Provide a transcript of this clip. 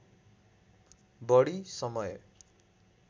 बढी समय